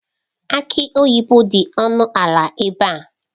Aki oyibo dị ọnụ ala ebe a.